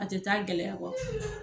A tɛ taa gɛlɛya kɔ.